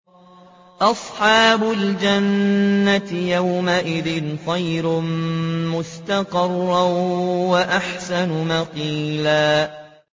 أَصْحَابُ الْجَنَّةِ يَوْمَئِذٍ خَيْرٌ مُّسْتَقَرًّا وَأَحْسَنُ مَقِيلًا